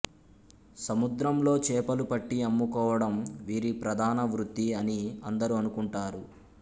సముద్రంలో చేపలుపట్టి అమ్ముకోవడం వీరి ప్రధానవృత్తి అని అందరూ అనుకుంటారు